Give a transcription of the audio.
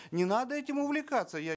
не надо этим увлекаться я